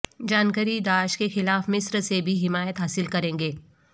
جان Kerry داعش کے خلاف مصر سے بھی حمایت حاصل کریں گے